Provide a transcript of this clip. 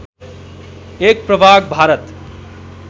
एक प्रभाग भारत